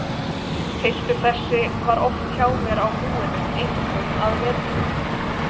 Piltur þessi var oft hjá mér á búinu, einkum að vetrinum.